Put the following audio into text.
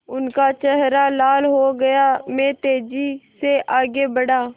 उनका चेहरा लाल हो गया मैं तेज़ी से आगे बढ़ा